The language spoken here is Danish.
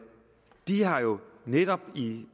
de har jo netop